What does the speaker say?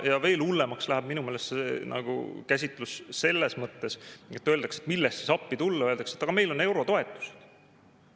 Ja veel hullemaks läheb minu meelest käsitlus selles mõttes, et kui küsitakse, milles siis appi tulla, siis öeldakse: aga meil on eurotoetused.